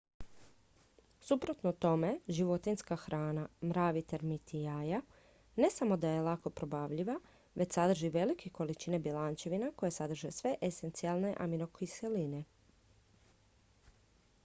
suprotno tome životinjska hrana mravi termiti jaja ne samo da je lako probavljiva već sadrži velike količine bjelančevina koje sadrže sve esencijalne aminokiseline